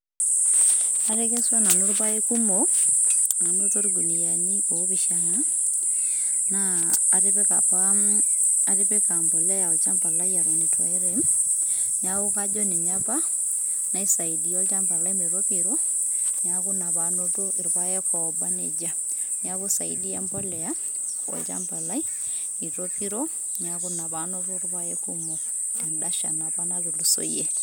atekeswa nanu ilpaek kumok, anoto ilkuniani opishana na atipika apa atipika embolea olshamba lai eton etu airem, niaku kajo ninye apa nasaidia olchamba lai metopiro niaku ina panoto ilpaek obaneijia, niaku isaidia embolea olchamba lai itopiro niaku ina panoto ilpaek kumok tidia apa shan natulusoyie